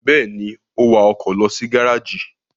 Bẹ́ẹ̀ ni, ó wa ọkọ̀ lọ sí gárájì.